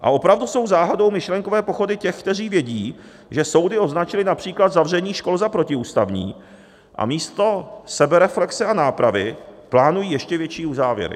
A opravdu jsou záhadou myšlenkové pochody těch, kteří vědí, že soudy označily například zavření škol za protiústavní, a místo sebereflexe a nápravy plánují ještě větší uzávěry.